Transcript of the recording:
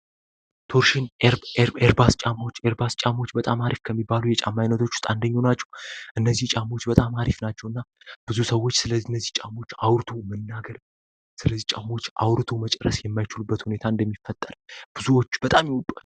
የቶርሽን ኤርባስ ጫማዎች ኤርባስ ጫማዎች በጣም የሚባለው የጫማ አይነቶች ውስጥ አንደኞቹ ናቸው እነዚህ ጫማዎች በጣም አሪፍ ናቸው በጣም ብዙ ሰዎች ስለነዚህ ጫማዎች አውርቶ መናገር አውርቶ መጨረሻ የማይችሉባቸው ሁኔታዎች ይፈጠራል ብዙዎች ይወዷቸዋል።